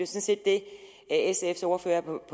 set det sfs ordfører på det